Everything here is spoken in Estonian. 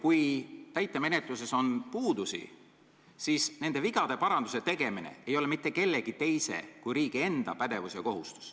Kui täitemenetluses on puudusi, siis selle vigade paranduse tegemine ei ole mitte kellegi teise kui riigi enda kohustus.